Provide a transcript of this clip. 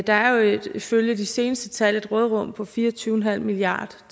der er jo ifølge de seneste tal et råderum på fire og tyve milliard